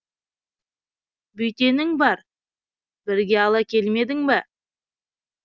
бүйтенің бар бірге ала келмедің ба